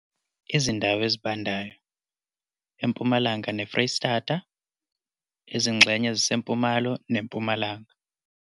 Izindawo ezibandayo, empumalanga neFreystata, izingxenye ezisempumalo neMpumalanga.